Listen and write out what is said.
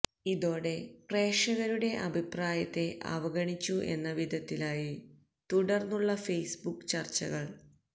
ഇതോടെ പ്രേക്ഷകരുടെ അഭിപ്രായത്തെ അവഗണിച്ചു എന്ന വിധത്തിലായി തുടർന്നുള്ള ഫേസ്ബുക്ക് ചർച്ചകൾ